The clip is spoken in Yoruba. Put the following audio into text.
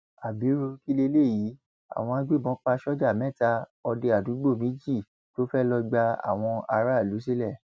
abiru kí leléyìí àwọn agbébọn pa sójà mẹta òde àdúúgbò méjì tó fẹẹ lọọ gba àwọn aráàlú sílẹ